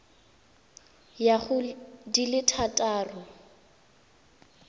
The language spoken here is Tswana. ya go di le thataro